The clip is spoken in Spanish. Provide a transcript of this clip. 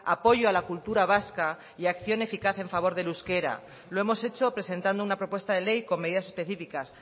apoyo a la cultura vasca y acción eficaz en favor del euskera lo hemos hecho presentando una propuesta de ley con medidas específicas